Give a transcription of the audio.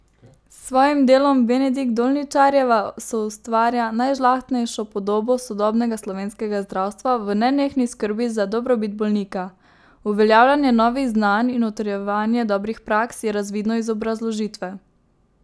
S svojim delom Benedik Dolničarjeva soustvarja najžlahtnejšo podobo sodobnega slovenskega zdravstva v nenehni skrbi za dobrobit bolnika, uveljavljanje novih znanj in utrjevanje dobrih praks, je razvidno iz obrazložitve.